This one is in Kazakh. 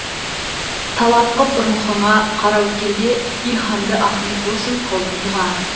талап қып рухыңа қараөткелде илһамды ахмет досым қылдым дұға